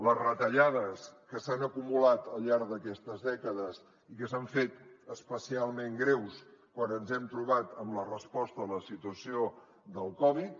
les retallades que s’han acumulat al llarg d’aquestes dècades i que s’han fet especialment greus quan ens hem trobat amb la resposta a la situació del covid